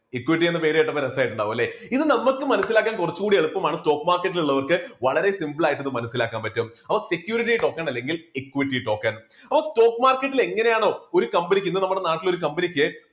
equity എന്ന പേര് കേട്ടപ്പോൾ രസായിട്ടുണ്ടാകും അല്ലേ ഇത് നമുക്ക് മനസ്സിലാക്കാൻ കുറച്ചു കൂടി എളുപ്പമാണ് stock market ൽ ഉള്ളവർക്ക് വളരെ simple ആയിട്ട് ഇത് മനസ്സിലാക്കാൻ പറ്റും. അപ്പോ security token അല്ലെങ്കിൽ equity token അപ്പോ stock market ൽ എങ്ങനെയാണ് ഒരു company ക്ക് ഇന്ന് നമ്മുടെ നാട്ടിൽ ഒരു company ക്ക്